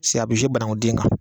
a bɛ bananku den kan